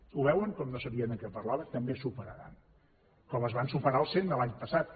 ho veuen com no sabien de què parlava també es superaran com es van superar els cent de l’any passat